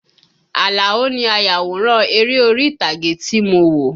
Àlàó ni ayàwòrán eré orí ìtàgé tí mo wo